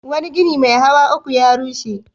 Wani gini mai hawa uku ya rushe.